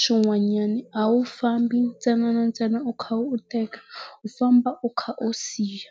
swin'wanyana a wu fambi ntsena na ntsena u kha u teka, u famba u kha u siya.